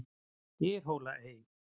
Dyrhólaey